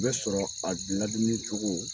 O bɛ sɔrɔ a ladumuni cogo